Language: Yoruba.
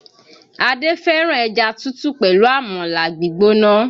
Adé fẹ́ràn ẹja tútù pẹ̀lú Àmàlà gbígbóná